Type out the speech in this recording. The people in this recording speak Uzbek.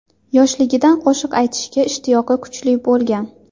Yoshiligidan qo‘shiq aytishga ishtiyoqi kuchli bo‘lgan.